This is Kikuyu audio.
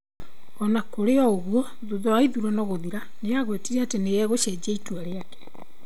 O na kũrĩ ũguo, thutha wa ithurano gũthira, nĩ aagwetire atĩ nĩ egũcenjia itua rĩake.